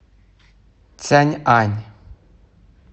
цяньань